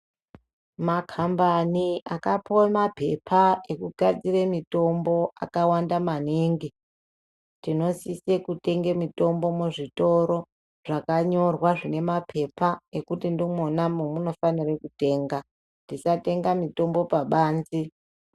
Makhambani akapuwe maphepa ekugadzire mitombo akawanda maningi, tinosise kutenge mitombo muzvitoro zvakanyorwa zvinemaphepa ekuti ndimona momunofanire kutenga. Tisatenga mitombo pabanze.